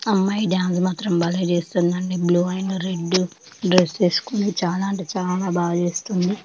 ఆ అమ్మాయి డాన్స్ మాత్రం భలే చేస్తుంది అండీ. బ్లూ అండ్ రెడ్ డ్రెస్ వేసుకుని చాలా అంటే చాలా బాగా చేస్తుంది.